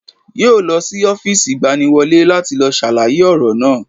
Yóò lọ sí Ófììsì ìgbaniwọlé láti lọ sàlàyé ọ̀rọ̀ náà